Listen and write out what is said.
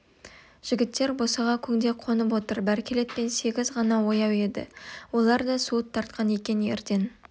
жігіттер босаға көңде қонып отыр бәркелет пен сегіз ғана ояу еді олар да суыт тартқан екен ерден